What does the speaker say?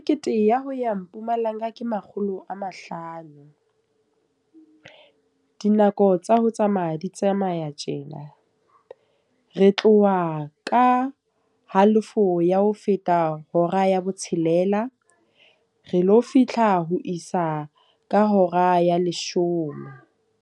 Kete ya ho ya Mpumalanga ke makgolo a mahlano. Dinako tsa ho tsamaya di tsamaya tjena. Re tloha ka halofo ya ho feta hora ya botshelela. Re lo fihla ho isa ka hora ya leshome.